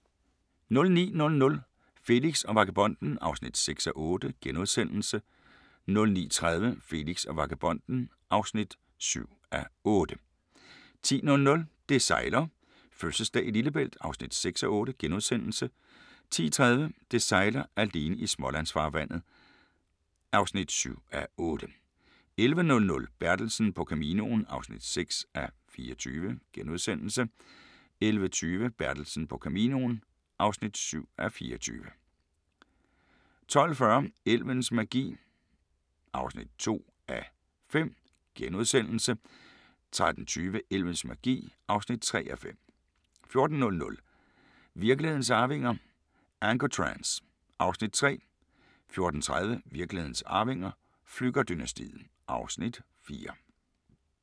09:00: Felix og vagabonden (6:8)* 09:30: Felix og vagabonden (7:8) 10:00: Det sejler - fødselsdag i Lillebælt (6:8)* 10:30: Det sejler - alene i Smålandsfarvandet (7:8) 11:00: Bertelsen på Caminoen (6:24)* 11:20: Bertelsen på Caminoen (7:24) 12:40: Elvens magi (2:5)* 13:20: Elvens magi (3:5) 14:00: Virkelighedens arvinger: Ancotrans (Afs. 3) 14:30: Virkelighedens arvinger: Flügger-dynastiet (Afs. 4)